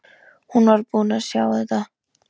Hún var búin að sjá þetta!